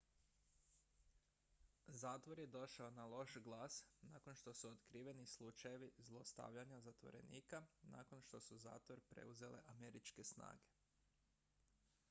zatvor je došao na loš glas nakon što su otkriveni slučajevi zlostavljanja zatvorenika nakon što su zatvor preuzele američke snage